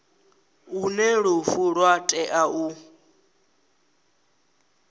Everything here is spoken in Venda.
hune lufu lwa tea u